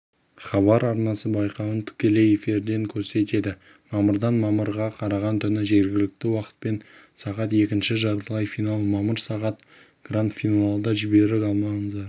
хабар арнасы байқауын тікелей эфирден көрсетеді мамырдан мамырға қараған түні жергілікті уақытпен сағат екінші жартылай финал мамыр сағат гранд-финалды жіберіп алмаңыздар